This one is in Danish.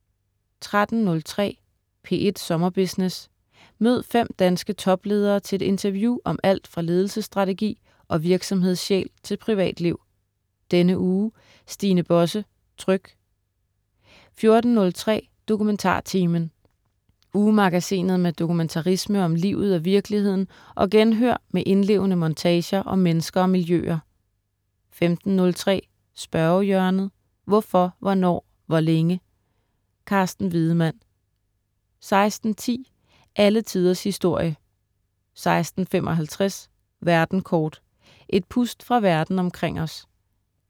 13.03 P1 Sommerbusiness. Mød fem danske topledere til et interview om alt fra ledelsesstrategi og virksomhedssjæl til privatliv. Denne uge: Stine Bosse, Tryg 14.03 DokumentarTimen. Ugemagasinet med dokumentarisme om livet og virkeligheden og genhør med indlevende montager om mennesker og miljøer 15.03 Spørgehjørnet. Hvorfor, hvornår, hvor længe? Carsten Wiedemann 16.10 Alle tiders historie* 16.55 Verden kort. Et pust fra Verden omkring os